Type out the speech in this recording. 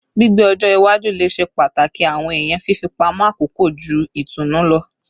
Gbigbe ọjọ iwaju le ṣe pataki awọn ẹya fifipamọ akoko ju itunu lọ